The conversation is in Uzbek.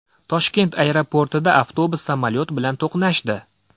Toshkent aeroportida avtobus samolyot bilan to‘qnashdi.